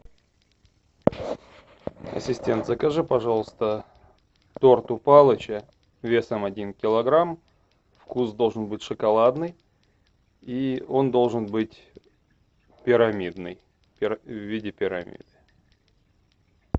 ассистент закажи пожалуйста торт у палыча весом один килограмм вкус должен быть шоколадный и он должен быть пирамидный в виде пирамиды